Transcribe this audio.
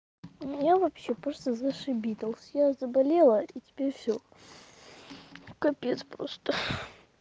у меня вообще просто зашибись я заболела и теперь все капец просто